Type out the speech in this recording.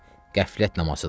Qəflət namazıdır.